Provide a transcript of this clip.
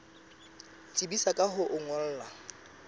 tsebisa ka ho o ngolla